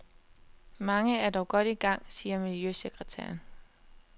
Mange er dog godt i gang, siger miljøsekretæren.